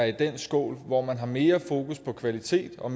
i den skål hvor man har mere fokus på kvalitet og